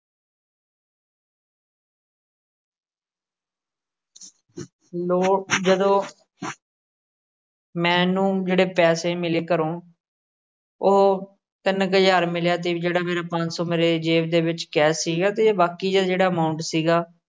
ਜਦੋ ਮੈਨੂੰ ਜਿਹੜੇ ਪੈਸੇ ਮਿਲੇ ਘਰੋਂ ਉਹ ਤਿੰਨ ਕ ਹਜ਼ਾਰ ਮਿਲਿਆ। ਤੇ ਜਿਹੜਾ ਮੇਰਾ ਪੰਜ ਸੋ ਮੇਰੇ ਜੇਬ ਦੇ ਵਿੱਚ ਕੈਸ਼ ਸੀਗਾ। ਤੇ ਬਾਕੀ ਜੇਹੜਾ amount ਸੀਗਾ।